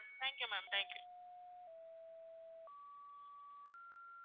thank you mam thank you